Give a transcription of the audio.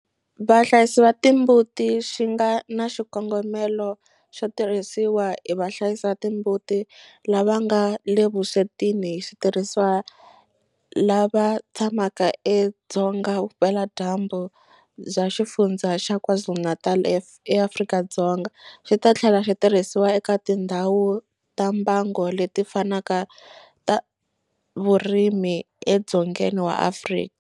Vahlayisi va timbuti xi nga na xikongomelo xo tirhisiwa hi vahlayisi va timbuti lava nga le vuswetini hi switirhisiwa lava tshamaka edzonga vupeladyambu bya Xifundzha xa KwaZulu-Natal eAfrika-Dzonga, xi ta tlhela xi tirhisiwa eka tindhawu ta mbango leti fanaka ta vurimi edzongeni wa Afrika.